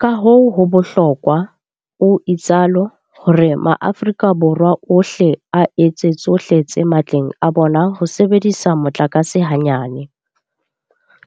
Kahoo ho bohlokwa, o itsalo, hore maAforika Borwa ohle a etse tsohle tse matleng a bona ho sebedisa motlakase hanyane.